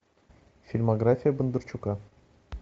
фильмография бондарчука